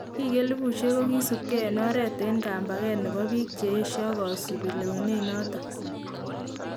Biik elebuusyek kokisubkee en oret en kambakeet nebo biik cheyeshaa kosubii lewenet noton